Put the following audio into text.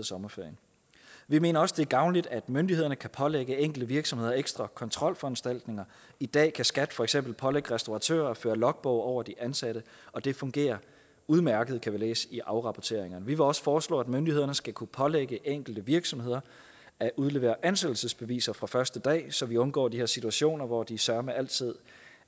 sommerferien vi mener også det er gavnligt at myndighederne kan pålægge enkelte virksomheder ekstra kontrolforanstaltninger i dag kan skat for eksempel pålægge restauratører at føre logbog over de ansatte og det fungerer udmærket kan læse i afrapporteringerne vi vil også foreslå at myndighederne skal kunne pålægge enkelte virksomheder at udlevere ansættelsesbeviser fra første dag så vi undgår de her situationer hvor de søreme altid